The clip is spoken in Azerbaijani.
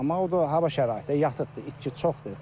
Amma o da hava şəraitidir, yatıqdır, itki çoxdur.